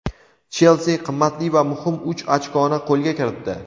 "Chelsi" qimmatli va muhim uch ochkoni qo‘lga kiritdi.